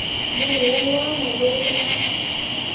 munhu wun wana loyi a